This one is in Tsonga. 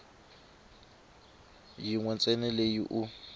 yin we ntsena leyi u